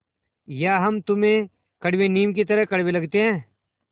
या हम तुम्हें कड़वे नीम की तरह कड़वे लगते हैं